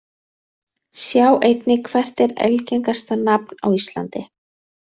Sjá einnig: Hvert er algengasta nafn á íslandi?